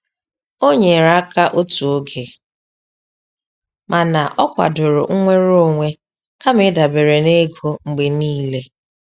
O nyere aka otu oge mana o kwadoro nnwere onwe kama ịdabere na ego mgbe niile.